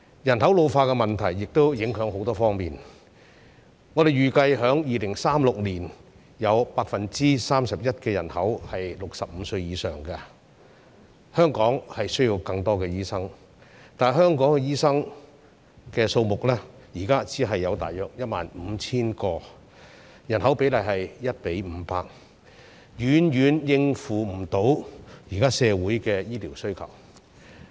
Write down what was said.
人口老化的問題亦會影響很多方面，我們預計在2036年，有 31% 的人口是65歲以上，香港需要更多醫生，但香港醫生的數目，現在只有大約 15,000 名，與人口的比例是 1：500， 遠遠無法應付現在社會的醫療需求。